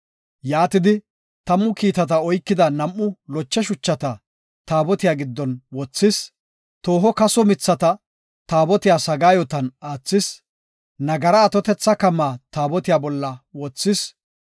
Yaatidi, tammu kiitata oykida nam7u loche shuchata, Taabotiya giddon wothis. Tooho kaso mithata Taabotiya sagaayotan aathis; nagara atotetha kamaka Taabotiya bolla wothis.